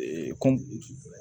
kɔ